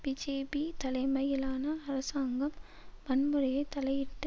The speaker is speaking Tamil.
பிஜேபி தலைமையிலான அரசாங்கம் வன்முறையை தலையிட்டு